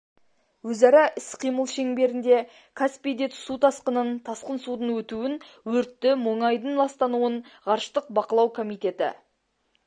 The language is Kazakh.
өзара іс-қимыл шеңберінде каспийде су тасқынын тасқын судың өтуін өртті мұнайдың ластануын ғарыштық бақылау комитеті